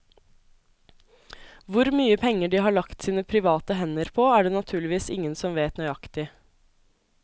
Hvor mye penger de har lagt sine private hender på, er det naturligvis ingen som vet nøyaktig.